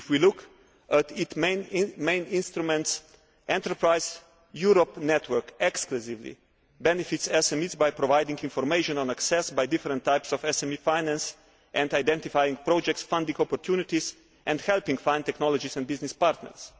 If we look at its main instruments, Enterprise Europe Network exclusively benefits SMEs by providing information on access by different types of SME finance and identifying project funding opportunities and helping to find technology and business partners.